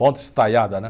Ponte estaiada, né?